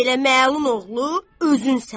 Belə məlun oğlu özün sənsən.